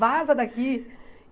Vaza daqui.